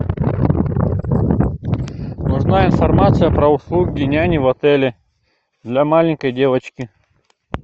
узнай информацию про услуги няни в отеле для маленькой девочки